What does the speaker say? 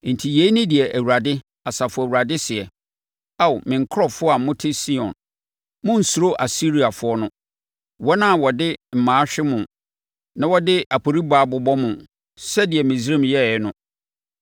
Enti, yei ne deɛ Awurade, Asafo Awurade seɛ, “Ao Me nkurɔfoɔ a mote Sion monnsuro Asiriafoɔ no, wɔn a wɔde mmaa hwe mo na wɔde aporibaa bobɔ mo, sɛdeɛ Misraim yɛeɛ no.